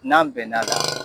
N'an bɛn na